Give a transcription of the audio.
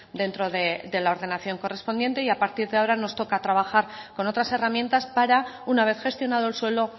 dentro de la ordenación correspondiente y a partir de ahora nos toca trabajar con otras herramientas para una vez gestionado el suelo